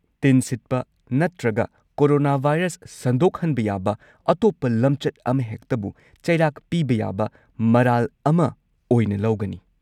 ꯇꯤꯟ ꯁꯤꯠꯄ ꯅꯠꯇ꯭ꯔꯒ ꯀꯣꯔꯣꯅꯥꯚꯥꯏꯔꯁ ꯁꯟꯗꯣꯛꯍꯟꯕ ꯌꯥꯕ ꯑꯇꯣꯞꯄ ꯂꯝꯆꯠ ꯑꯃꯍꯦꯛꯇꯕꯨ ꯆꯩꯔꯥꯛ ꯄꯤꯕ ꯌꯥꯕ ꯃꯔꯥꯜ ꯑꯃ ꯑꯣꯏꯅ ꯂꯧꯒꯅꯤ꯫